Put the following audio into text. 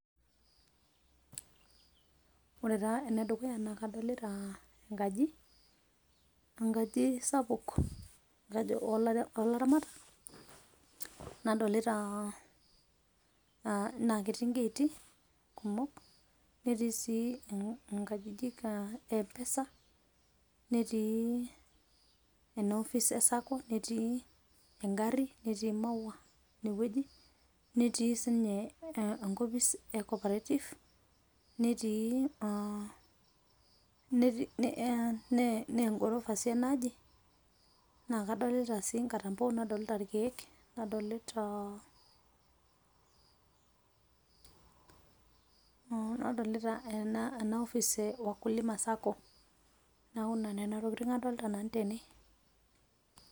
Ore taa enedukuya naa kadolita enkaji, enkaji sapuk oolaramatak nadolita naa ketii ingaiti kumok, netii sii nkajijik e Mpesa, netii ena ofis e Sacco, netii engarri, netii maua inewueji, netii sii ninye enkopis e Corporative, naa engorofa sii enaaji, naa kadolita sii nkatampo nadolita ilkeek, nadolita nadolita ena ofis e Wakulima Sacco neeku nena tokitin adolita nanu tene.